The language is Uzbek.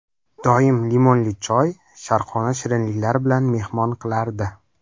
Doim limonli choy, sharqona shirinliklar bilan mehmon qilardi.